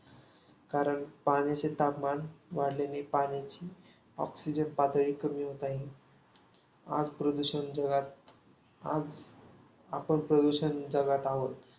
कारण पाण्याचे तापमान वाढल्याने, पाण्याची oxygen पातळी कमी होत आहे. आज प्रदूषण जगात आज आपण प्रदूषण जगात आहोत.